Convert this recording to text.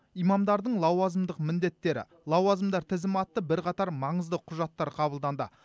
имамдардың лауазымдық міндеттері лауазымдар тізімі атты бірқатар маңызды құжаттар қабылданды